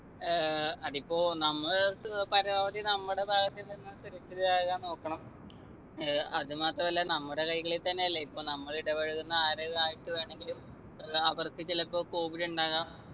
ഏർ അതിപ്പോ നമ്മള് അടുത്ത് ഏർ പരമാവധി നമ്മുടെ ഭാഗത്തുനിന്നും സുരക്ഷിതരാകാൻ നോക്കണം ഏർ അതുമാത്രമല്ല നമ്മുടെ കൈകളിൽ തന്നെയല്ലേ ഇപ്പം നമ്മൾ ഇടപഴകുന്ന ആരെൽ ആയിട്ടു വേണങ്കിലും അത് അവർക്ക് ചിലപ്പോ covid ഉണ്ടാവാം